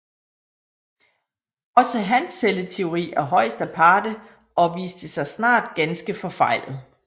Også hans celleteori er højst aparte og viste sig snart ganske forfejlet